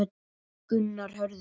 Gunnar Hörður.